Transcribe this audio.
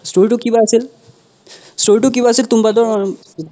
story তো কিবা আছিল story তো কিবা আছিল তুম্বাদৰ উম